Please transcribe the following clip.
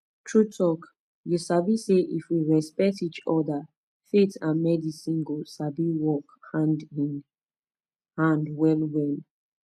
true talk you sabi say if we respect each other faith and medicine go sabi work hand in hand well well